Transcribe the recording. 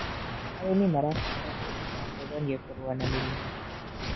Arĩmĩ marabatara kwĩrũta gũkonĩe kũrũa na mĩrĩmũ